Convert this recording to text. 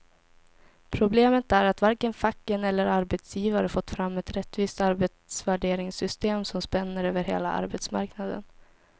Problemet är att varken facken eller arbetsgivare fått fram ett rättvist arbetsvärderingssystem som spänner över hela arbetsmarknaden.